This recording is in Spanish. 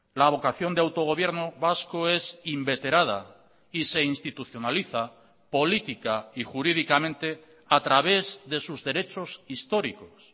la vocación de autogobierno vasco es inveterada y se institucionaliza política y jurídicamente a través de sus derechos históricos